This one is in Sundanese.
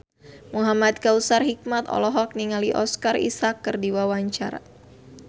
Muhamad Kautsar Hikmat olohok ningali Oscar Isaac keur diwawancara